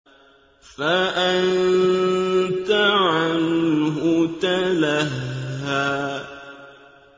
فَأَنتَ عَنْهُ تَلَهَّىٰ